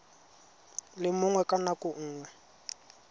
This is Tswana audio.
le mongwe ka nako nngwe